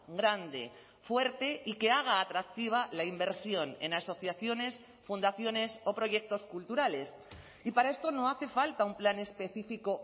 grande fuerte y que haga atractiva la inversión en asociaciones fundaciones o proyectos culturales y para esto no hace falta un plan específico